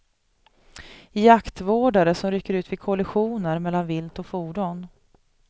Jaktvårdare som rycker ut vid kollisioner mellan vilt och fordon.